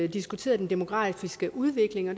diskuteret den demografiske udvikling og